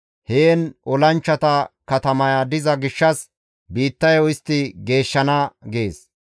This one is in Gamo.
Heen olanchchata katamaya diza gishshas biittayo istti geeshshana› gees.